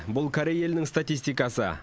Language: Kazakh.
бұл корей елінің статистикасы